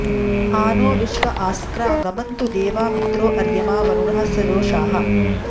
आ नो विश्व आस्क्रा गमन्तु देवा मित्रो अर्यमा वरुणः सजोषाः